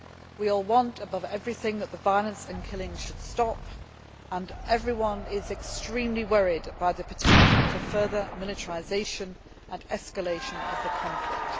We all want, above everything, the violence and killings to stop, and everyone is extremely worried by the potential for further militarisation and escalation of the conflict.